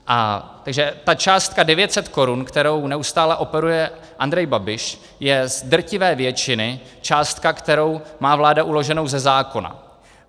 Takže ta částka 900 korun, kterou neustále operuje Andrej Babiš, je z drtivé většiny částka, kterou má vláda uloženou ze zákona.